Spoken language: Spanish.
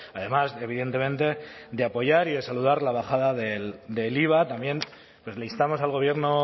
además de evidentemente apoyar y de saludar la bajada del iva también pues le instamos al gobierno